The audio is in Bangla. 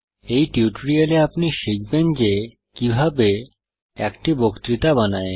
এই টিউটোরিয়ালে আপনি শিখবেন যে কিভাবে একটি বক্তৃতা বানায়